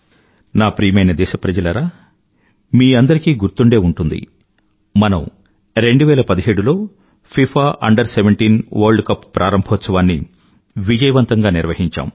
నా ప్రియమైన దేశప్రజలారా మీ అందరికీ గుర్తుండే ఉంటుంది మనం 2017లో ఫిఫా Under17 వర్ల్డ్ కప్ ప్రారంభోత్సవాన్ని విజయవంతంగా నిర్వహించాం